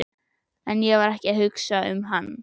En ég var ekki að hugsa um hann.